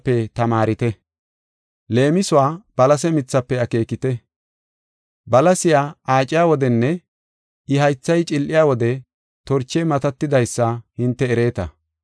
“Leemisuwa balase mithafe akeekite; balasiya aaciya wodenne I haythay cil7iya wode, torchey matatidaysa hinte ereeta.